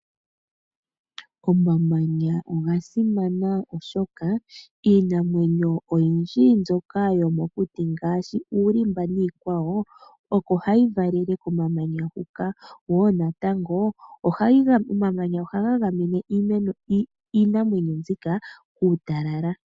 Omamanya oga simana, oshoka iinamwenyo oyindji yomokuti ngaashi uulimba niikwawo, oko hayi valele komamanya hoka. Omamanya ohaga gamene iinamwenyo mbika kuutalala.